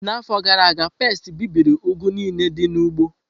N'afọ gara aga, pesti bibiri ugu niile dị n'ugbo.